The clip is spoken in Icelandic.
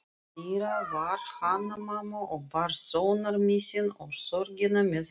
Innandyra var Hanna-Mamma og bar sonarmissinn og sorgina með reisn.